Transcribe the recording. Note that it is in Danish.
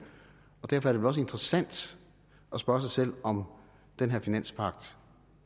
og derfor er det vel også interessant at spørge sig selv om den her finanspagt